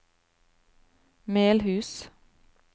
Melhus